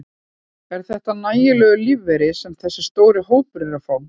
Er þetta nægjanlegur lífeyri sem þessi stóri hópur er að fá?